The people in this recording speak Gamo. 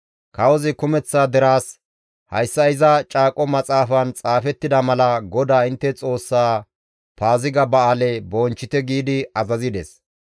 Kawozi kumeththa deraas, «Hayssa iza caaqo maxaafan xaafettida mala GODAA intte Xoossa Paaziga ba7aale bonchchite» giidi azazides.